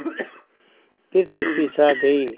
फिर चुप्पी छा गई